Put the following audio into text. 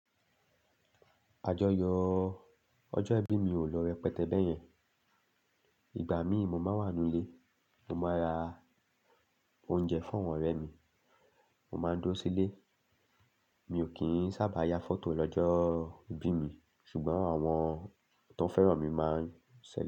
Àjọyọ̀ ọjọ́ ìbí mi ò lọ rẹpẹtẹ bẹ́ẹ̀ yẹn. Ìgbà mí mu máa wà nú ilé, mo máa ra oúnjẹ fún àwọn ọ̀rẹ́ mi, mo máa dúró sílé. Mi ò kí ń sábà ya fọ́tò lọ́jọ́ ìbí mi ṣùgbọ́n àwọn tó fẹ́ràn mi máa ń sẹẹli.